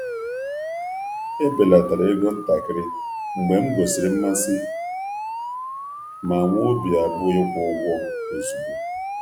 Ebelatara ego ntakịrị mgbe m gosiri mmasị ma nwee obi abụọ ịkwụ ụgwọ ozugbo.